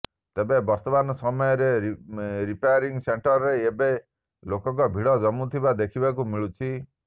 ତେବେ ବର୍ତ୍ତମାନ ସମୟରେ ରିପାୟରିଂ ସେଣ୍ଟରରେ ଏବେ ଲୋକଙ୍କ ଭିଡ଼ ଜମୁଥିବା ଦେଖିବାକୁ ମିଳୁଛି